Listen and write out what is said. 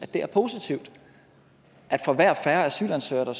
det er positivt at for hver asylansøger der